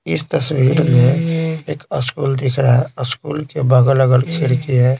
इस तस्वीर में एक स्कूल दिख रहा है स्कूल के बगल अगर खिड़की है।